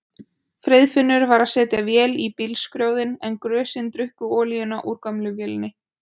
Friðfinnur var að setja vél í bílskrjóðinn en grösin drukku olíuna úr gömlu vélinni.